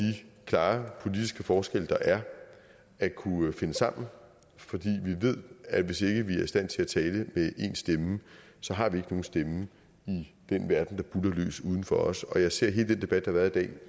klare politiske forskelle der er at kunne finde sammen fordi vi ved at hvis ikke vi er i stand til at tale med én stemme så har vi nogen stemme i den verden der buldrer løs udenfor os og jeg ser hele den debat der har været i dag